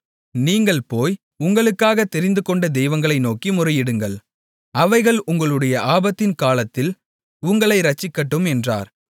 நீங்கள் போய் உங்களுக்காகத் தெரிந்துகொண்ட தெய்வங்களை நோக்கி முறையிடுங்கள் அவைகள் உங்களுடைய ஆபத்தின் காலத்தில் உங்களை இரட்சிக்கட்டும் என்றார்